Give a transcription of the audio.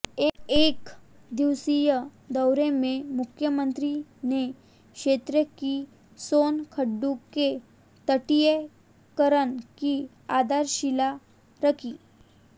एकदिवसीय दौरे में मुख्यमंत्री ने क्षेत्र की सोन खड्ड के तटीयकरण की आधारशिला रखी